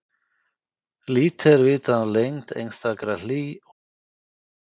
Lítið er vitað um lengd einstakra hlý- og jökulskeiða.